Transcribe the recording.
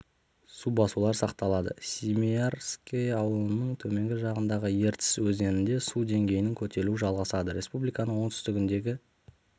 су басулар сақталады семиярское ауылының төменгі жағындағы ертіс өзенінде су деңгейінің көтерілуі жалғасады республиканың оңтүстігіндегі